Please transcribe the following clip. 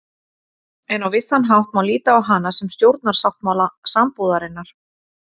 En á vissan hátt má líta á hana sem stjórnarsáttmála sambúðarinnar.